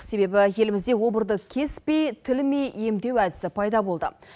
себебі елімізде обырды кеспей тілмей емдеу әдісі пайда болды